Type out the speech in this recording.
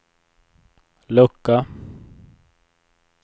lucka